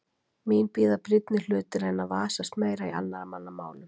Mín bíða brýnni hlutir en að vasast meira í annarra manna málum.